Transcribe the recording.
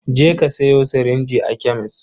Je ka sayo sirinji a kemes.